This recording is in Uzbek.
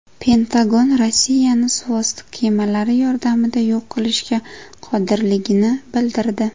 Pentagon Rossiyani suvosti kemalari yordamida yo‘q qilishga qodirligini bildirdi.